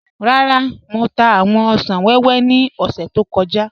Rárá, Mọ̀ tà awọn òṣan wẹwẹ ni ọ̀ṣẹ̀ tó kọja.